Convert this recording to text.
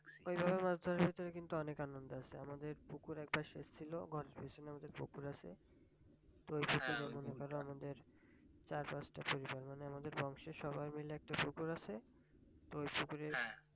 ঐ ধরো মাছ ধরার ভিতরে কিন্তু অনেক আনন্দ আছে আমাদের পুকুর একবার সেচ ছিল কনফিউশনালদের পুকুর আছে ঐ ধরো আমাদের চার পাঁচ টা পরিবার মানে আমাদের বংশের সবার মিলে একটা পুকুর আছে ঐ পুকুরে